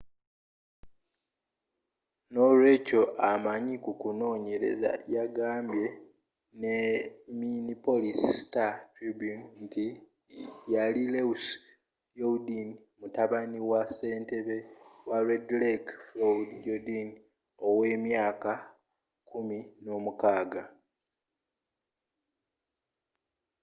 n'olweekyo amanyi ku kunoonyereza yagambye minneapolis star-tribune nti yali louis jourdain mutabani wa ssentebe wa red lake floyd jourdain ow'emyaka kumi n'omukaaga